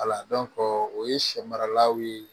o ye sɛ maralaw ye